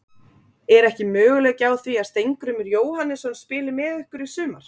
Er ekki möguleiki á því að Steingrímur Jóhannesson spili með ykkur í sumar?